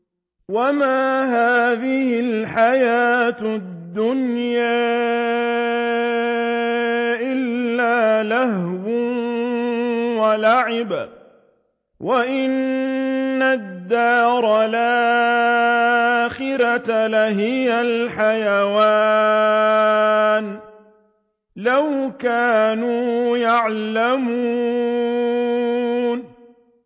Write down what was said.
وَمَا هَٰذِهِ الْحَيَاةُ الدُّنْيَا إِلَّا لَهْوٌ وَلَعِبٌ ۚ وَإِنَّ الدَّارَ الْآخِرَةَ لَهِيَ الْحَيَوَانُ ۚ لَوْ كَانُوا يَعْلَمُونَ